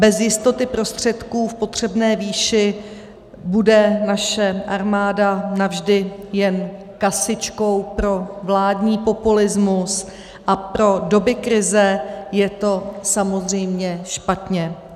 Bez jistoty prostředků v potřebné výši bude naše armáda navždy jen kasičkou pro vládní populismus, a pro doby krize je to samozřejmě špatně.